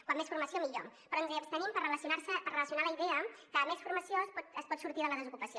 com més formació millor però ens hi abstenim per relacionar la idea que amb més formació es pot sortir de la desocupació